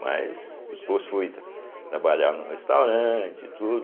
Mas, depois fui tra trabalhar no restaurante e tudo,